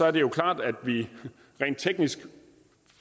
at det er klart at vi rent teknisk